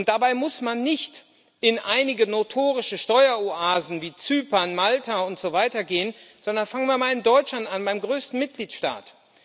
Dabei muss man nicht in einige notorische Steueroasen wie Zypern, Malta und so weiter gehen, sondern fangen wir mal in Deutschland an, beim größten Mitgliedstaat.